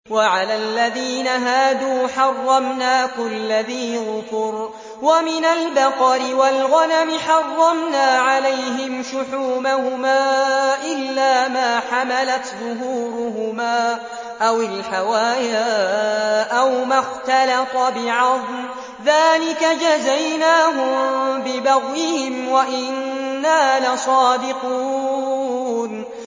وَعَلَى الَّذِينَ هَادُوا حَرَّمْنَا كُلَّ ذِي ظُفُرٍ ۖ وَمِنَ الْبَقَرِ وَالْغَنَمِ حَرَّمْنَا عَلَيْهِمْ شُحُومَهُمَا إِلَّا مَا حَمَلَتْ ظُهُورُهُمَا أَوِ الْحَوَايَا أَوْ مَا اخْتَلَطَ بِعَظْمٍ ۚ ذَٰلِكَ جَزَيْنَاهُم بِبَغْيِهِمْ ۖ وَإِنَّا لَصَادِقُونَ